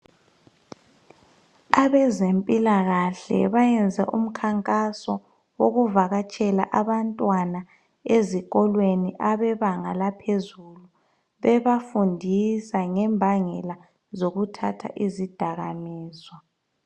Abezempilakahle bayenze umkhankaso wokuvakatshela abantwana bezinga laphezulu bebafundisa mayelana lokuthatha izidakaminzwa.